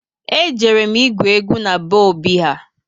E jere m igwu egwu na be Obi ha